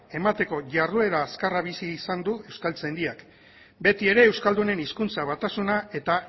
emateko jarduera azkarra bizi izan du euskaltzaindiak beti ere euskaldunen hizkuntza batasuna eta